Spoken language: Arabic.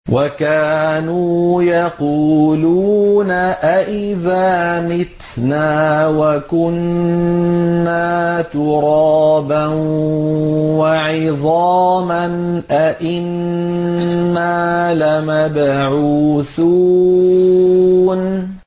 وَكَانُوا يَقُولُونَ أَئِذَا مِتْنَا وَكُنَّا تُرَابًا وَعِظَامًا أَإِنَّا لَمَبْعُوثُونَ